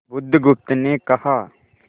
बुधगुप्त ने कहा